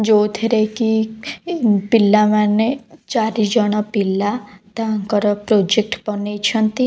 ଯଉଥିରେ କି ପିଲାମାନେ ଚାରିଜଣ ପିଲା ତାଙ୍କର ପ୍ରୋଜେକ୍ଟର ବନେଇଛନ୍ତି।